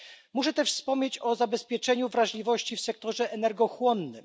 Muszę też wspomnieć o zabezpieczeniu wrażliwości w sektorze energochłonnym.